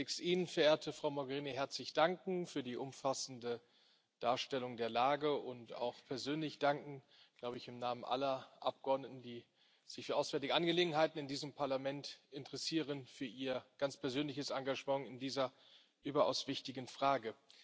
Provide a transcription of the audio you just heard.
Ich möchte zunächst Ihnen, verehrte Frau Mogherini, herzlich danken für die umfassende Darstellung der Lage und auch persönlich danken ich glaube im Namen aller Abgeordneten, die sich für auswärtige Angelegenheiten in diesem Parlament interessieren für Ihr ganz persönliches Engagement in dieser überaus wichtigen Frage.